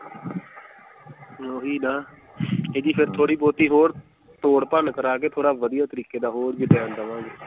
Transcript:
ਓਹੀ ਨਾ ਥੋੜੀ ਬਹੁਤੀ ਹੋਰ ਤੋੜ ਭੰਨ ਕਰਾ ਕੇ ਥੋੜਾ ਵਧੀਆ ਤਰੀਕੇ ਦਾ ਹੋਰ design ਦਵਾਂਗੇ।